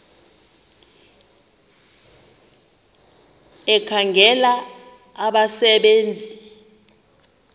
ekhangela abasebe nzi